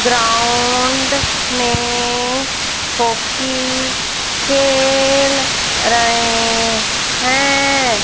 Ground में hockey खेल रहे हैं।